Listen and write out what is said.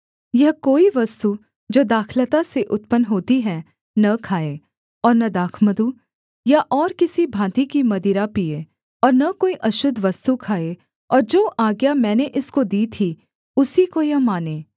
यह कोई वस्तु जो दाखलता से उत्पन्न होती है न खाए और न दाखमधु या और किसी भाँति की मदिरा पीए और न कोई अशुद्ध वस्तु खाए और जो आज्ञा मैंने इसको दी थी उसी को यह माने